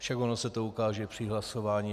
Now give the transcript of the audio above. Však ono se to ukáže při hlasování.